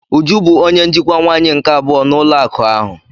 Uju bụ onye njikwa nwaanyị nke abụọ n'ụlọ akụ ahụ.